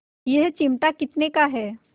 यह चिमटा कितने का है